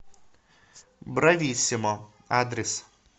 брависсимо адрес